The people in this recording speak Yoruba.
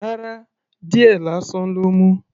Rárá. Díẹ̀ lásán ló mu.